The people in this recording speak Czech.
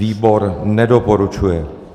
Výbor nedoporučuje.